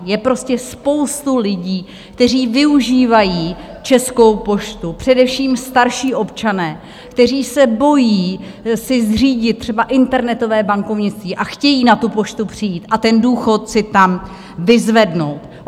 Je prostě spousta lidí, kteří využívají Českou poštu, především starší občané, kteří se bojí si zřídit třeba internetové bankovnictví a chtějí na tu poštu přijít a ten důchod si tam vyzvednout.